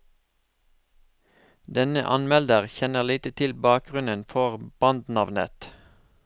Denne anmelder kjenner lite til bakgrunnen for bandnavnet.